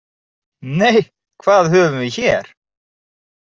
Nei, hvað höfum við hér?